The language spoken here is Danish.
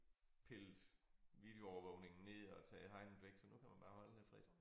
Pillet videoovervågningen ned og taget hegnet væk så nu kan man bare holde der frit